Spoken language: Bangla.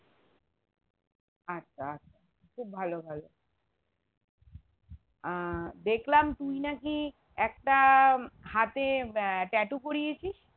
আচ্ছা আচ্ছা খুব ভালো ভালো আহ দেখলাম তুই নাকি একটা হাতে আহ tattoo করিয়েছিস